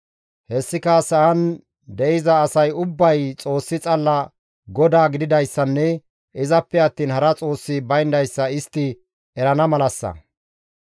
Hessika sa7an de7iza asay ubbay Xoossi xalla GODAA gididayssanne izappe attiin hara xoossi bayndayssa istti erana malassa.